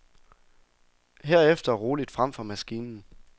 Herefter roligt frem for maskinen.